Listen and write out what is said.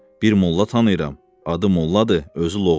Bir molla tanıyıram, adı molladır, özü loğman.